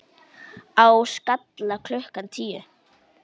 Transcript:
Á Skalla klukkan tíu!